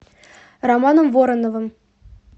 романом вороновым